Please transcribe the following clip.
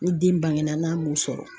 Ni den bangena n'a m'u sɔrɔ